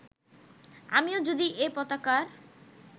আমিও যদি এ পতাকার